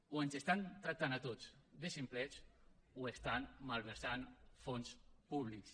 o ens tracten a tots de ximplets o malversen fons públics